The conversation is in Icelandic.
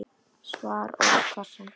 Svar óskast sem fyrst.